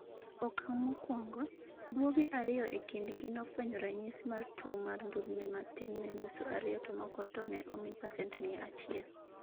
okang' mokuongo. guoge ariyo e kind gi nofwenyo ranyisi mar tuwo mar ndulme matin ne nuse ariyo to moko to ne omi pacent miya achiel